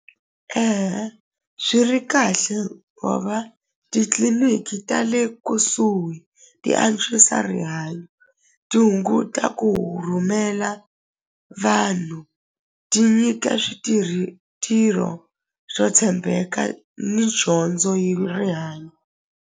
swi ri kahle titliliniki ta le kusuhi ti antswisa rihanyo ti hunguta ku rhumela vanhu ti nyika switirhi swo tshembeka ni dyondzo hi .